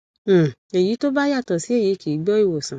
um èyí tó bá yàtọ sí èyí kì í gbọ ìwòsàn